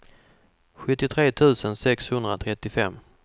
sjuttiotre tusen sexhundratrettiofem